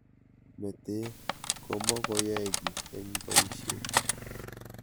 Mete komakiyae key eng boisiet.